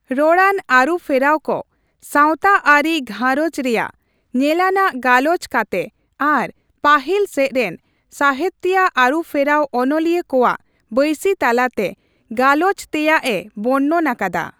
ᱨᱚᱲᱟᱱ ᱟᱹᱨᱩᱯᱷᱮᱨᱟᱣ ᱠᱚ ᱥᱟᱣᱛᱟ ᱟᱹᱨᱤ ᱜᱷᱟᱸᱨᱚᱡᱽ ᱨᱮᱭᱟᱜ ᱧᱮᱞᱟᱱᱟᱜ ᱜᱟᱞᱚᱪ ᱠᱟᱛᱮ ᱟᱨ ᱯᱟᱹᱦᱤᱞᱥᱮᱪ ᱨᱮᱱ ᱥᱟᱣᱦᱮᱛᱤᱭᱟᱹ ᱟᱹᱨᱩᱯᱷᱮᱨᱟᱣ ᱚᱱᱚᱞᱤᱭᱟᱹ ᱠᱚᱣᱟᱜ ᱵᱟᱹᱭᱥᱤᱼᱛᱟᱞᱟᱛᱮ ᱜᱟᱞᱚᱪ ᱛᱮᱭᱟᱜ ᱮ ᱵᱚᱨᱱᱚᱱ ᱟᱠᱟᱫᱟ ᱾